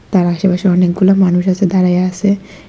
তার আশেপাশে অনেকগুলো মানুষ আছে দাঁড়ায়া আসে।